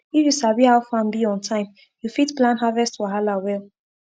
if you sabi how farm be on time you fit plan harvest wahala well